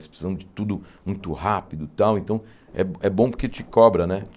Eles precisam de tudo muito rápido e tal, então é bo é bom porque te cobra, né?